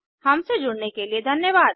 हमसे जुड़ने के लिए धन्यवाद